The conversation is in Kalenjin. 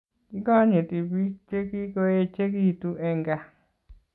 Kikonyitii biik Che kikoechekitu eng kaa